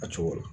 A cogo la